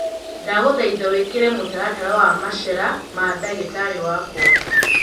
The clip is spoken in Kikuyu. ndagũthaĩtha wĩkĩire mũtaratara wa macera ma ndagĩtari wakwa